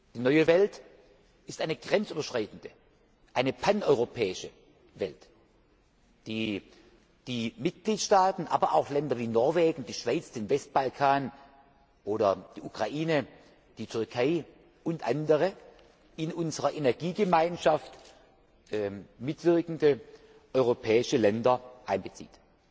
Die neue Welt ist eine grenzüberschreitende, eine paneuropäische Welt, die die Mitgliedstaaten, aber auch Länder wie Norwegen, die Schweiz, den Westbalkan, die Ukraine, die Türkei und andere in unserer Energiegemeinschaft mitwirkende europäische Länder einbezieht.